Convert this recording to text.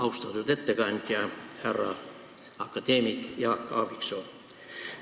Austatud ettekandja, härra akadeemik Jaak Aaviksoo!